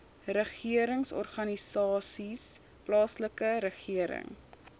regeringsorganisasies plaaslike regering